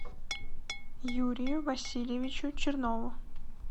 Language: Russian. юрию васильевичу чернову